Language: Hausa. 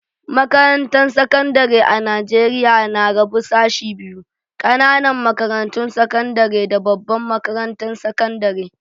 Makarantan sekandari a'Nijeriya na rabu sashi biyu, ƙananan makarantun sakandare da babban makarantan sakandare.